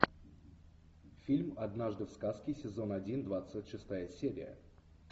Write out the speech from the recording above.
фильм однажды в сказке сезон один двадцать шестая серия